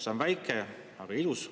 See on väike, aga ilus.